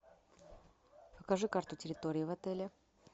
покажи карту территории в отеле